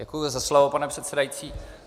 Děkuji za slovo, pane předsedající.